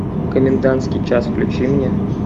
комендантский час включи мне